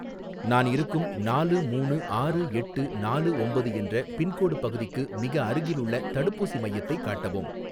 நான் இருக்கும் நாலு மூணு ஆறு எட்டு நாலு ஒம்பது என்ற பின்கோடு பகுதிக்கு மிக அருகிலுள்ள தடுப்பூசி மையத்தை காட்டவும்